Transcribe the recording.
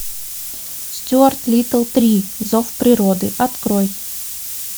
стюарт литл три зов природы открой